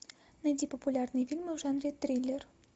найди популярные фильмы в жанре триллер